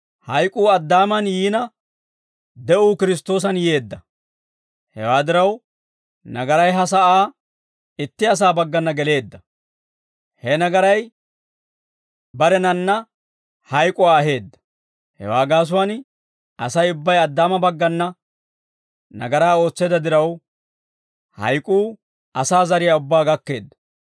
Hewaa diraw, nagaray ha sa'aa itti asaa baggana geleedda; he nagaray barenanna hayk'uwaa aheedda; hewaa gaasuwaan, Asay ubbay Addaama baggana nagaraa ootseedda diraw, hayk'uu asaa zariyaa ubbaa gakkeedda.